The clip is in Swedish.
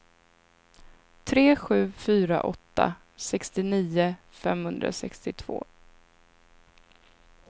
tre sju fyra åtta sextionio femhundrasextiotvå